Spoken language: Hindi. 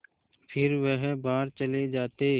फिर वह बाहर चले जाते